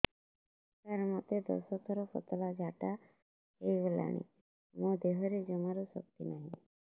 ସାର ମୋତେ ଦଶ ଥର ପତଳା ଝାଡା ହେଇଗଲାଣି ମୋ ଦେହରେ ଜମାରୁ ଶକ୍ତି ନାହିଁ